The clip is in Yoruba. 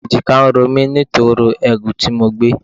Èjìká ń ro mí nítorí ẹrù tí mo gbé.